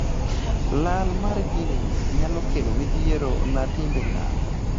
lal mar jin ni nyalo kelo midhiero na timbe ng'ato